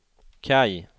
Kaj